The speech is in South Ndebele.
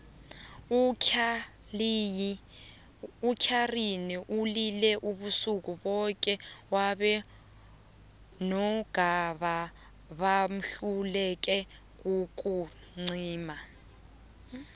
utlaliyi ulile ubusuku boke abo nogada bahluleke kukumcima